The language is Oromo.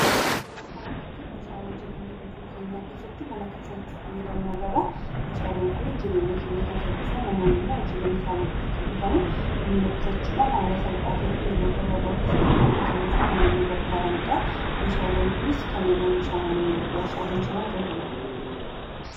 Suuraa kana irratti meeshaalee jireenya guyyuu keenya keessatti mana keessatti itti fayyadamnu agarra. Meeshaalen kun jireenya keenya kan salphisan namoonni ammoo hojii mana isaanii keessatti hojjetaman humna qusachuudhaan haala salphaatiifi yeroo gabaabaa keessatti akka hojjetanuufi kanneen nu gargaaranidha. Meeshaaleen kunneenis kanneen warshaatti oomishaman ta'uu danda'u.